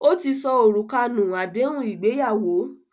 Ó ti sọ òrùka nù àdéhùn ìgbéyàwó